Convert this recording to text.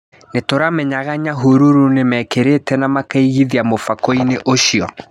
Nĩtũramenyaga Nyahururu nĩmekĩrĩte na makaigithia mũfhakoinĩ ũcio.